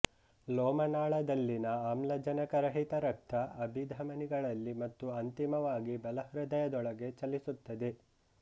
ಲೋಮನಾಳದಲ್ಲಿನ ಆಮ್ಲಜನಕರಹಿತ ರಕ್ತ ಅಭಿಧಮನಿಗಳಲ್ಲಿ ಮತ್ತು ಅಂತಿಮವಾಗಿ ಬಲ ಹೃದಯದೊಳಗೆ ಚಲಿಸುತ್ತದೆ